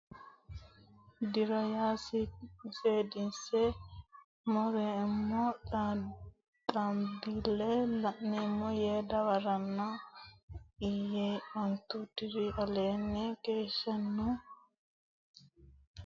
diro ya seedisi reemmo diximbii leemmo yee dawaranno Ille yee ontu diri aleenni keeshshannokkiha ximbii giwino korkaata togo yee kulino keeshshanno yee hegerera hee ranno Ani ille ximbii lummoro dagganno ilama.